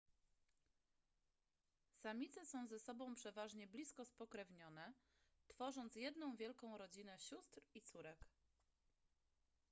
samice są ze sobą przeważnie blisko spokrewnione tworząc jedną wielką rodzinę sióstr i córek